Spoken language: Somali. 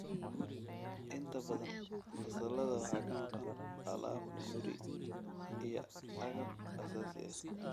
Inta badan fasallada waxaa ka maqan alaab guri iyo agab aasaasi ah.